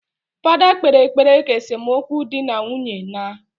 Fada kpere ekpere ka esomukwu di na nwunye naaa